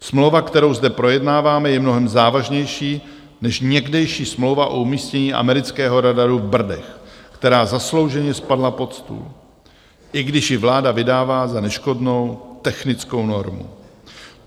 Smlouva, kterou zde projednáváme, je mnohem závažnější než někdejší smlouva o umístění amerického radaru v Brdech - která zaslouženě spadla pod stůl - i když ji vláda vydává za neškodnou technickou normu.